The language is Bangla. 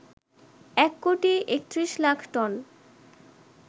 এক কোটি ৩১ লাখ টন